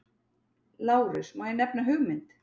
LÁRUS: Má ég nefna hugmynd?